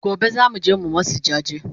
Gobe zamuje mu masu jaje